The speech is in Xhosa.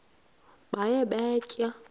baye bee tyaa